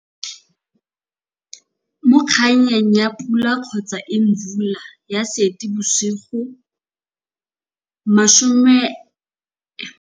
Mo kgannyaneng ya Pula kgotsa Imvula ya Seetibosigo mašome, seripa sa leano se botoka go na le go tlhoka leano gotlhelele, togamaano e ne ya buisanelwa jaaka tiro ya tsamaiso.